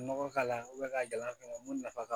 Nɔgɔ k'a la ka gɛlɛ a kama mun nafa ka bon